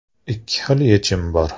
Ikki xil yechim bor.